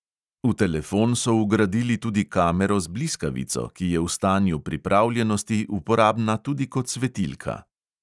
V telefon so vgradili tudi kamero z bliskavico, ki je v stanju pripravljenosti uporabna tudi kot svetilka.